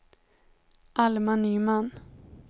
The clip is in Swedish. Alma Nyman